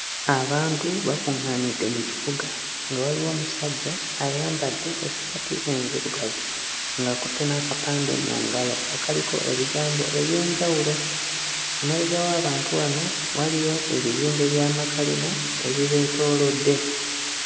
Abantu bakuŋŋaanidde mu kibuga nga waliwo omusajja ayambadde essaati enzirugavu ng'akutte n'akapande mu ngalo akaliko ebigambo eby'enjawulo. Emabega w'abantu wano waliyo ebizimbe by'amakalina ebibeetoolodde.